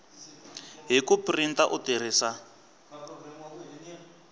hi ku printa u tirhisa